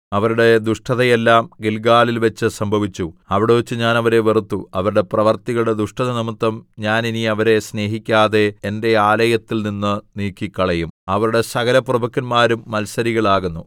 അവരുടെ ദുഷ്ടതയെല്ലാം ഗില്ഗാലിൽവച്ച് സംഭവിച്ചു അവിടെവച്ച് ഞാൻ അവരെ വെറുത്തു അവരുടെ പ്രവൃത്തികളുടെ ദുഷ്ടതനിമിത്തം ഞാൻ ഇനി അവരെ സ്നേഹിക്കാതെ എന്റെ ആലയത്തിൽനിന്ന് നീക്കിക്കളയും അവരുടെ സകലപ്രഭുക്കന്മാരും മത്സരികൾ ആകുന്നു